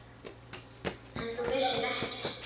En þú vissir ekkert.